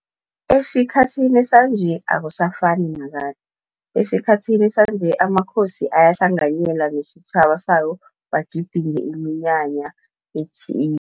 Esikhathini sanje akusafani nakade. Esikhathini sanje amakhosi ayahlanganyela nesitjhaba sayo bagidinge iminyanya